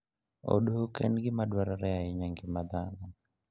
Odok en gima dwarore ahinya e ngima dhano.